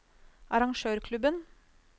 arrangørklubben